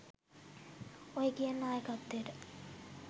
ඔය කියන නායකත්වයට